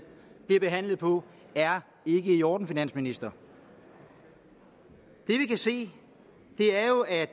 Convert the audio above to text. bliver behandlet på er ikke i orden finansministeren det vi kan se er jo at